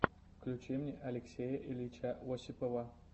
включи мне алексея ильича осипова